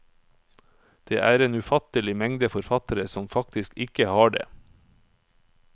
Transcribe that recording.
Det er en ufattelig mengde forfattere som faktisk ikke har det.